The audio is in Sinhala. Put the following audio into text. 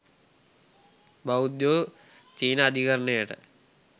බෞද්ධයෝ චීන අධිකරණයට